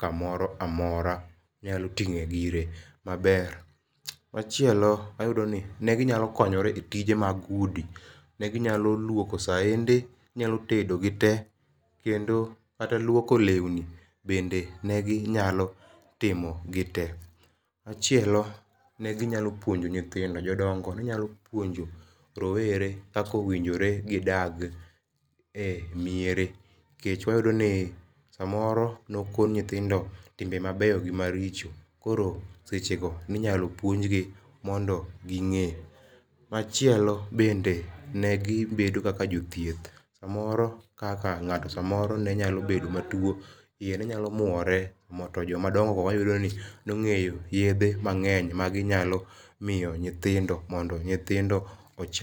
ka moro amora onyalo ting'o gige ma ber. Machielo ayudo ni ne gi nyalo konyore e tije mag udi ne gi nyalo luoko saende, gi nyalo tedo gi te bende kata lwoko lewni ne gi nyalo timo gi te. Machielo, ne gi nyalo puonjo nyithindo, Jo dongo ne gi nyalo puonio rowere kaka owinjore gi dag e miere, kech wayudo ni sa moro ne opuonj nyithindo timbe ma beyo gi ma richo koro seche go ne inyalo puonj gi mondo gi nge .Machielo bende ne gi bedo kaka jo thieth, sa moro kaka ng'ato sa moro ne nyalo bedo ma two ,iye ne nyalo mwore, to jok ma madongo go wayudo ka ne nyalo ng'eyo yedhe mang'eny ma gi nyalo miyo nyithindo mondo nyithindo ochang.